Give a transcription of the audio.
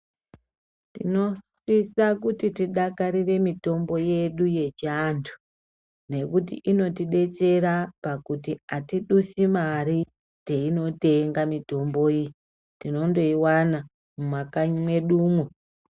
Tinosisa kuti tidakarire mitombo yedu yechi antu nekuti inoti betsera pakuti atidusi mari teino tenga mitombo iyi tinondo iwana mu makanyi medumwo.